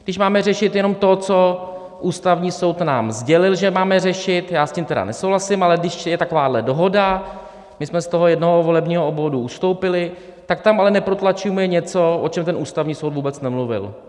Když máme řešit jenom to, co Ústavní soud nám sdělil, že máme řešit, já s tím tedy nesouhlasím, ale když je takováhle dohoda, my jsme z toho jednoho volebního obvodu ustoupili, tak tam ale neprotlačujme něco, o čem ten Ústavní soud vůbec nemluvil.